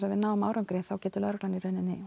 að við náum árangri lögreglan